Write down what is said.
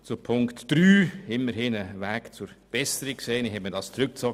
Dass Punkt 3 zurückgezogen wurde, darin sehen wir immerhin einen Weg zur Besserung.